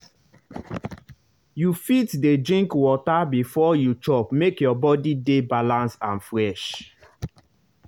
you fit dey drink water before you chop make your body dey balance and fresh.